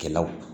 Kɛlaw